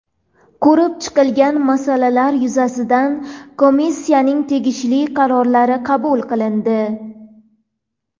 Ko‘rib chiqilgan masalalar yuzasidan Komissiyaning tegishli qarorlari qabul qilindi.